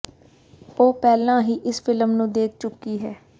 ਉਹ ਪਹਿਲਾਂ ਹੀ ਇਸ ਫਿਲਮ ਨੂੰ ਦੇਖ ਚੁੱਕੀ ਹੈ